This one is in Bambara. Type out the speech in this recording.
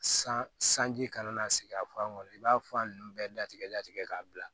San sanji kana na sigi a fan kɔnɔ i b'a f'a nunnu bɛɛ datigɛ datigɛ k'a bila